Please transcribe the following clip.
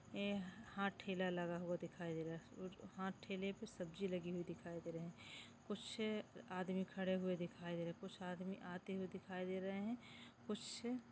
ये यहाँ ठेला लगा हुआ दिखाई दे रहा है यहाँ ठेले पर सब्जी लगी हुई दिखाई दे रही है कुछ आदमी खड़े हुए दिखाई दे रहे है कुछ आदमी आते हुए दिखाई दे रहे है कुछ--